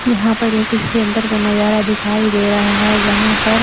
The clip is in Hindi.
यहां पर ये किसी सेंटर का नजारा दिखाई दे रहा है जहां पर--